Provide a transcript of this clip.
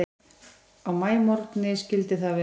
Á maímorgni skyldi það vera.